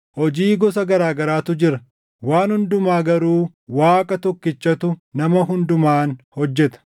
Hojii gosa garaa garaatu jira; waan hundumaa garuu Waaqa tokkichatu nama hundumaan hojjeta.